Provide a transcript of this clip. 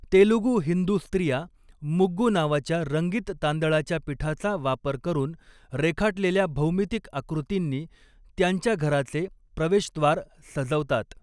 तेलुगू हिंदू स्त्रिया, मुग्गु नावाच्या रंगीत तांदळाच्या पिठाचा वापर करून रेखाटलेल्या भौमितिक आकृतींनी त्यांच्या घराचे प्रवेशद्वार सजवतात.